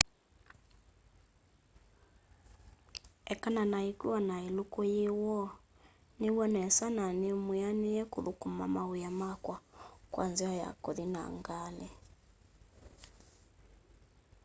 ekana na ikua na iluku yi woo niiw'a nesa na nimwianie kuthukuma mawia makwa kwa nzai ya kuthi na ngali